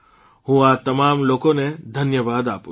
હું આ તમામ લોકોને ધન્યવાદ આપું છું